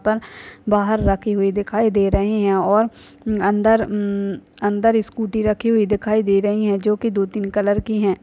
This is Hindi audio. बाहर रखी हुई दिखाई दे रही हैं और अंदर उम्म अंदर स्कूटी रखी हुई दिखाई दे रही हैं जो की दो तीन कलर की हैं।